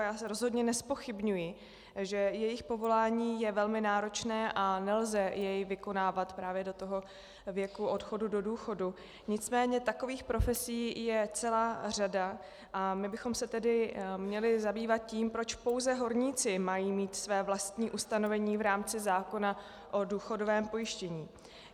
A já zde rozhodně nezpochybňuji, že jejich povolání je velmi náročné a nelze jej vykonávat právě do toho věku odchodu do důchodu, nicméně takových profesí je celá řada a my bychom se tedy měli zabývat tím, proč pouze horníci mají mít své vlastní ustanovení v rámci zákona o důchodovém pojištění.